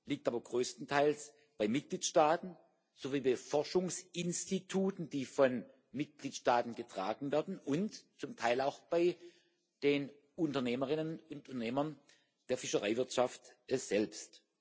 liegt aber größtenteils bei den Mitgliedstaaten sowie den Forschungsinstituten, die von den Mitgliedstaaten getragen werden, und zum Teil auch bei den Unternehmerinnen und Unternehmern der Fischereiwirtschaft selbst.